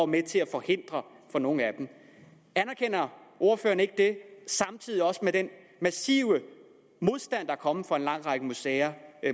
med til at forhindre for nogle af dem anerkender ordføreren ikke det samtidig med den massive modstand der er kommet fra en lang række museer